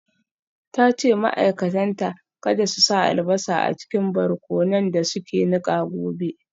Ta ce ma’aikatanta kada su sa albasa a cikin barkonon da suke nika gobe.